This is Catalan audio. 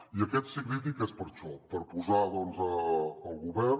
i aquest sí crític és per això per posar el govern